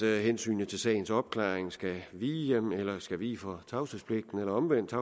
hensynet til sagens opklaring skal vige for tavshedspligten eller omvendt at